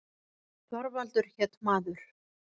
Þorvaldur hét maður.